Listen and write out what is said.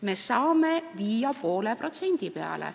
Me saame viia selle 0,5% peale.